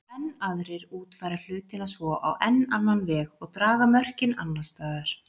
Enn aðrir útfæra hlutina svo á enn annan veg og draga mörkin annars staðar.